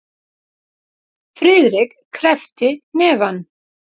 Friðrik kreppti hnefana.